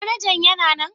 Manajan yana nan?